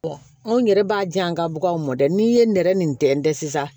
anw yɛrɛ b'a di an ka baganw mɔ dɛ n'i ye nɛrɛ nin tɛntɛn sisan